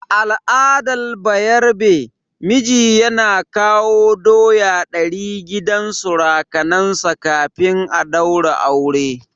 A al'adar bayarabe, miji yana kawo doya ɗari gidan surukansa kafin a daura aure.